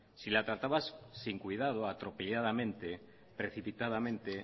si la tratabas sin cuidado atropelladamente precipitadamente